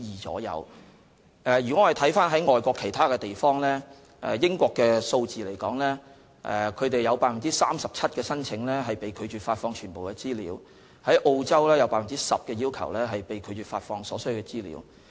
我們可參考外國其他地方在這方面的數字，在英國 ，37% 的申請被拒絕發放全部資料，澳洲的相關比率是 10%。